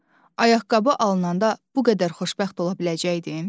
ayaqqabı alınanda bu qədər xoşbəxt ola biləcəkdim?